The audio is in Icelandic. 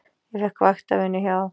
Ég fékk vaktavinnu hjá